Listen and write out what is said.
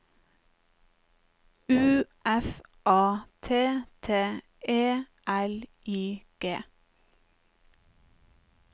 U F A T T E L I G